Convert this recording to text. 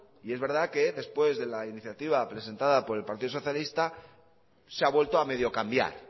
y es verdad que después de la iniciativa presentada por el partido socialista se ha vuelto a medio cambiar